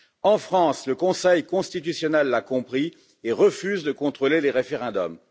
En France, le Conseil constitutionnel l'a compris et refuse de contrôler les référendums.